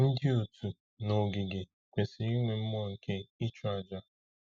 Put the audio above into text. Ndị otu n’ogige kwesịrị inwe mmụọ nke ịchụ àjà.